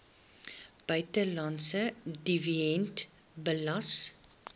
buitelandse dividend belas